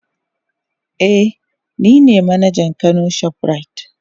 Eh nine manajan kano shoprite.